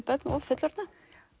börn og fullorðna